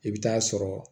I bɛ taa sɔrɔ